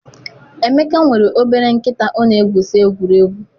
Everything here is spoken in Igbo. Emeka nwere obere nkịta ọ na-egwusa egwuregwu.